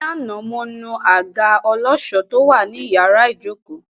Ní àná, mo nu àga ọlọ́ṣọ̀ọ́ tó wà ní iyàrá ìjókòó!